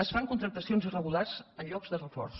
es fan contractacions irregulars en llocs de reforç